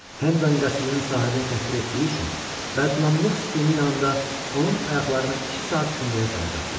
Hendan qəsrinin sahibini təhqir etdiyi üçün bədnamlıq sütunu yanında onun ayaqlarını iki saat kündəyə salacaqdılar.